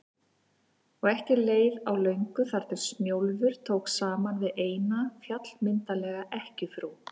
Og ekki leið á löngu þar til Snjólfur tók saman við eina, fjallmyndarlega ekkjufrú